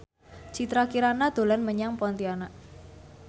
Citra Kirana dolan menyang Pontianak